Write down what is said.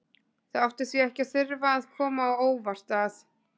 Það átti því ekki að þurfa að koma á óvart að